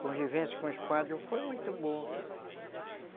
Convivência com os padres, foi muito boa